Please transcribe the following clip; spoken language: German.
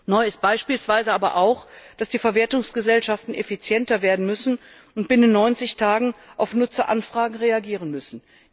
Neu ist beispielsweise aber auch, dass die Verwertungsgesellschaften effizienter werden und binnen 90 Tagen auf Nutzeranfragen reagieren müssen.